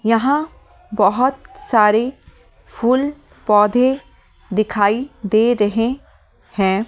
यहाँ बहुत सारे फूल पौधे दिखाई दे रहे हैं।